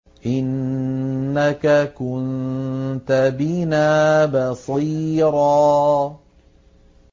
إِنَّكَ كُنتَ بِنَا بَصِيرًا